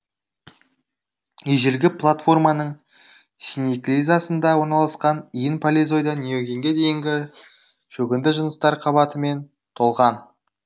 ежелгі платформаның синеклизасында орналасқан иін палеозойдан неогенге дейінгі шөгінді жыныстар қабатымен толған